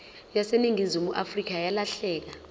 yaseningizimu afrika yalahleka